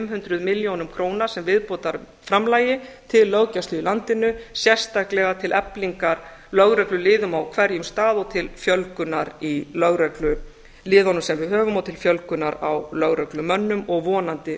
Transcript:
hundruð milljónum króna sem viðbótarframlagi til löggæslu í landinu sérstaklega til eflingar lögregluliðum á hverjum stað og til fjölgunar í lögregluliðum sem við höfum og til fjölgunar á lögreglumönnum og vonandi